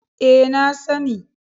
E, na sani.